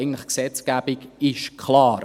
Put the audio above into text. Eigentlich ist die Gesetzgebung klar.